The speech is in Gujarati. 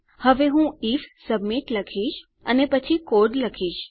હવે હું આઇએફ સબમિટ લખીશ અને પછી કોડ લખીશ